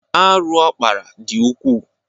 Arụ ọ kpara dị ukwuu.